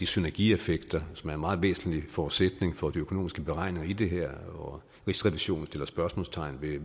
synergieffekter som er en meget væsentlig forudsætning for de økonomiske beregninger i det her og rigsrevisionen sætter spørgsmålstegn ved